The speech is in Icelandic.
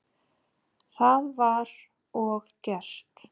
Það var og gert.